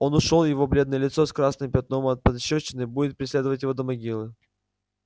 он ушёл и его бледное лицо с красным пятном от пощёчины будет преследовать её до могилы